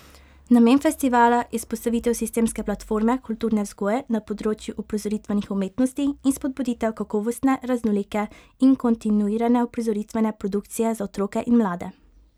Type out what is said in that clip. Namen festivala je vzpostavitev sistemske platforme kulturne vzgoje na področju uprizoritvenih umetnosti in spodbuditev kakovostne, raznolike in kontinuirane uprizoritvene produkcije za otroke in mlade.